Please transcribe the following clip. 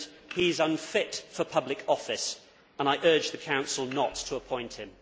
He is unfit for public office and I urge the Council not to appoint him.